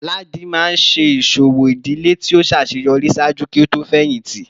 Ladi maa n ṣe iṣowo idile ti o ṣaṣeyọri ṣaaju ki o to fẹhinti